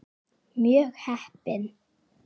Mjög heppin.